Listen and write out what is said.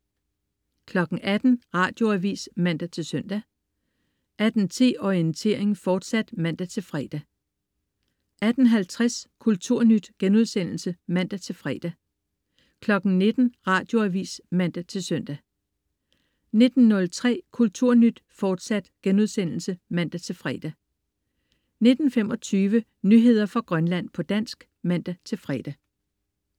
18.00 Radioavis (man-søn) 18.10 Orientering, fortsat (man-fre) 18.50 Kulturnyt* (man-fre) 19.00 Radioavis (man-søn) 19.03 Kulturnyt, fortsat* (man-fre) 19.25 Nyheder fra Grønland, på dansk (man-fre)